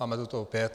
Máme to tu opět.